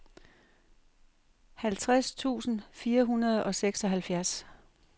halvtreds tusind fire hundrede og seksoghalvfjerds